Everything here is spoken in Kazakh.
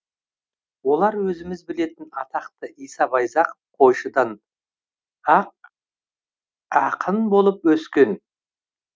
олар өзіміз білетін атақты иса байзақов қойшыдан ақ ақын болып өскен